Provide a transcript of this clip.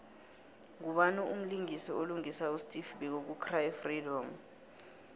ngubani mlisingisi olingisa usteve biko ku cry freedom